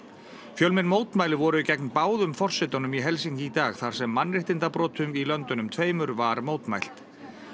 fjölmenn mótmæli voru gegn báðum forsetunum í Helsinki í dag þar sem mannréttindabrotum í löndunum tveimur var mótmælt